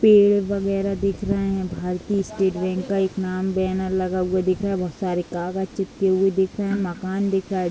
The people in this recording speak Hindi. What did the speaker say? पेड़ बगैरह दिख रहे हैं | भारतीय स्‍टेट बैंक का एक नाम बैनर लगा हुआ दिख रहा है | बोहत सारे कागज चिपके हुए दिख रहे हैं | मकान दिख रहा हैं ।